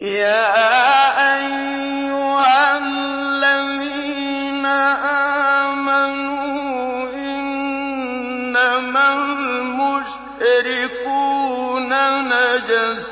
يَا أَيُّهَا الَّذِينَ آمَنُوا إِنَّمَا الْمُشْرِكُونَ نَجَسٌ